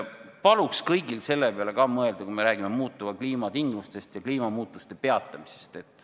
Paluks kõigil selle peale ka mõelda, kui me räägime muutuva kliima tingimustest ja kliimamuutuste peatamisest.